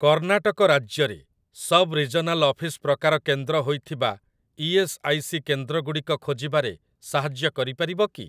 କର୍ଣ୍ଣାଟକ ରାଜ୍ୟରେ ସବ୍ regional office ପ୍ରକାର କେନ୍ଦ୍ର ହୋଇଥିବା ଇ.ଏସ୍. ଆଇ. ସି. କେନ୍ଦ୍ରଗୁଡ଼ିକ ଖୋଜିବାରେ ସାହାଯ୍ୟ କରିପାରିବ କି?